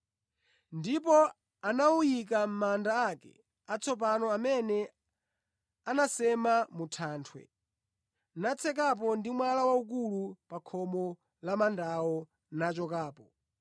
Ndipo anawuyika mʼmanda ake atsopano amene anasema mu thanthwe, natsekapo ndi mwala waukulu pa khomo la mandawo nachokapo.